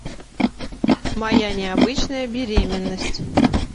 моя необычная беременность